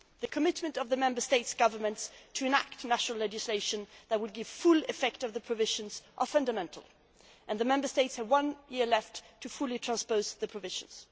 The commitment of the Member States' governments to enacting national legislation that would give full effect to the provisions is fundamental, and the Member States have one year left fully to transpose the provisions.